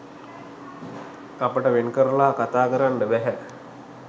අපිට වෙන්කරලා කතා කරන්න බැහැ.